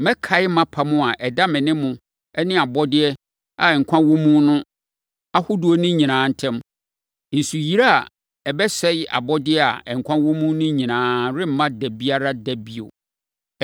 mɛkae mʼapam a ɛda me ne mo ne abɔdeɛ a nkwa wɔ mu ahodoɔ no nyinaa ntam. Nsuyire a ɛbɛsɛe abɔdeɛ a nkwa wɔ mu no nyinaa remma da biara da bio.